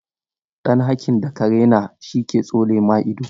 Dan haƙin da ka raina shi ke tsole ma ido.